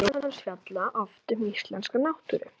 Ljóð hans fjalla oft um íslenska náttúru.